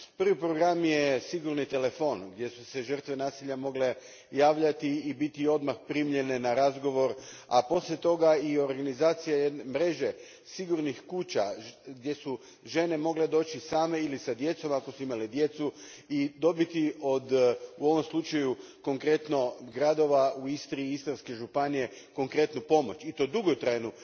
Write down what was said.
Prvi program je sigurni telefon gdje su se žrtve nasilja mogle javljati i biti odmah primljene na razgovor, a poslije toga i organizacija mreže sigurnih kuća gdje su žene mogle doći same ili s djecom, ako su imale djecu, i dobiti u ovom slučaju od gradova u Istri i Istarskoj županiji konkretnu pomoć, i to dugotrajnu,